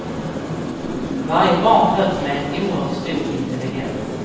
Varje barn föds med en oerhört stor intelligens.